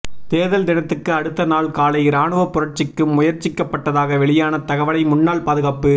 தேர்தல் தினத்துக்கு அடுத்த நாள் காலை இராணுவப் புரட்சிக்கு முயற்சிக்கப்பட்டதாக வெளியான தகவலை முன்னாள் பாதுகாப்பு